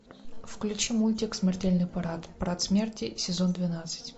включи мультик смертельный парад парад смерти сезон двенадцать